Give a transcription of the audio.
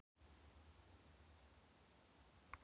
Það dimmdi þegar lögmaðurinn lét aftur hurðina.